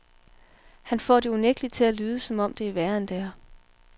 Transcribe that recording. Han får det unægtelig til at lyde, som om det er værre, end det er.